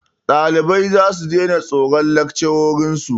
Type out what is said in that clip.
Ɗalibai zasu daina tsoron lakcarorin su.